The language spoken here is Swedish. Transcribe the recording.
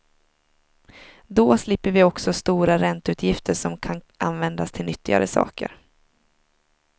Då slipper vi också stora ränteutgifter som kan användas till nyttigare saker.